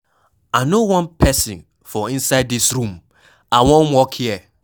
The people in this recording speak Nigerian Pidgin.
I no wan person for inside dis room, I wan work here